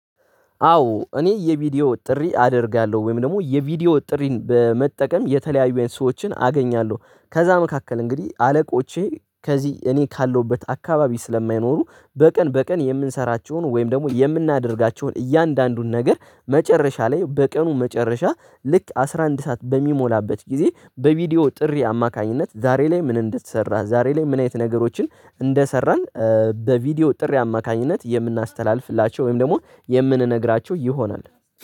አዎ እኔ የቪዲዮ ጥሪ አደርጋለሁ ወይም ደግሞ የቪዲዮ ጥሪን በመጠቀም የተለያዩ ሰዎችን አገኛለሁ ከዛ መካከል እንግዲህ አለቆቼ ከዚህ እኔ ካለሁበት አካባቢ ስለማይኖሩ በቀን በቀን የምንሰራቸውን ወይም ደግሞ የምናደርጋቸውን እያንዳንዱን ነገር መጨረሻ ላይ በቀኑ መጨረሻ ልክ አስራ አንድ ሰዓት በሚሞላበት ጊዜ በቪዲዮ ጥሪ አማካኝነት ዛሬ ላይ ምን እንድትሰራ ዛሬ ላይ ምን አይነት ነገሮችን እንደሰራን። በቪዲዮ ጥሪ አማካኝነት የምናስተላልፍላቸው ወይም ደግሞ የምንነግራቸው ይሆናል